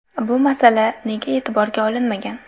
Bu masala nega e’tiborga olinmagan?